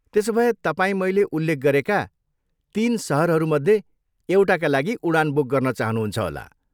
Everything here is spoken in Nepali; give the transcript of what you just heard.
त्यसोभए तपाईँ मैले उल्लेख गरेका तिन सहरहरूमध्ये एउटाका लागि उडान बुक गर्न चाहनुहुन्छ होला।